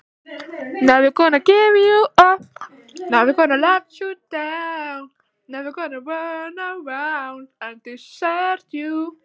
Eigi er þess getið, hvað hann hét.